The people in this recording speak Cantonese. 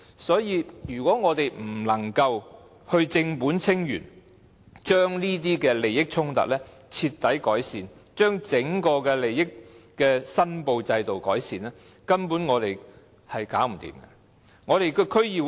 所以，如果我們不能夠正本清源，徹底解決這些利益衝突，改善整個利益申報制度，根本處理不到問題。